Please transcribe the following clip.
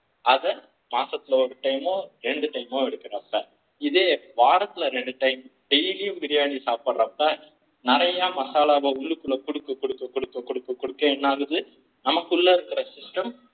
அத மாசத்துல ஒரு time ரெண்டு time எடுக்கணும் இதே வாரத்துல இரண்டு time daily பிரியாணி சாப்பிடறப்போ நிறைய மசாலாவை உள்ளுக்குள்ள கொடுக்க கொடுக்க கொடுக்கநமக்குள்ள இருக்க system